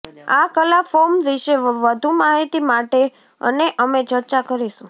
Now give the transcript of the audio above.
આ કલા ફોર્મ વિશે વધુ માહિતી માટે અને અમે ચર્ચા કરીશું